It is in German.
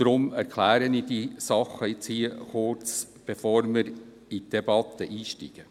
Deshalb erkläre ich diese Sachen kurz, bevor wir in die Debatte einsteigen.